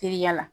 Teriya la